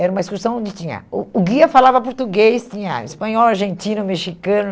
Era uma excursão onde tinha... O o guia falava português, tinha espanhol, argentino, mexicano.